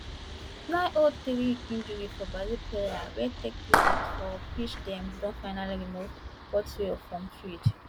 nine oh three injury for brazil player wey take treatment for pitch dem don finally remove portiho from field